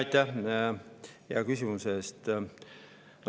Aitäh hea küsimuse eest!